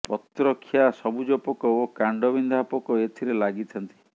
ପତ୍ରଖିଆ ସବୁଜ ପୋକ ଓ କାଣ୍ଡବିନ୍ଧା ପୋକ ଏଥିରେ ଲାଗିଥାନ୍ତି